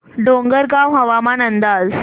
डोंगरगाव हवामान अंदाज